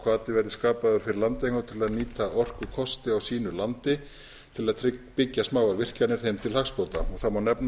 hvati verði skapaður fyrir landeigendur til að nýta orkukosti á sínu landi til að byggja smáar virkjanir þeim til hagsbóta það má nefna